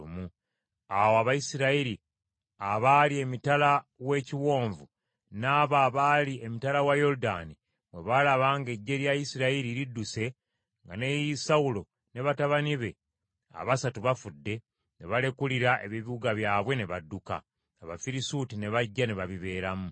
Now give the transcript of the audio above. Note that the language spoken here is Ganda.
Awo Abayisirayiri abaali emitala w’ekiwonvu n’abo abaali emitala wa Yoludaani bwe baalaba ng’eggye lya Isirayiri lidduse nga ne Sawulo ne batabani be abasatu bafudde, ne balekulira ebibuga byabwe ne badduka. Abafirisuuti ne bajja ne babibeeramu.